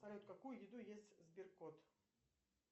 салют какую еду ест сберкот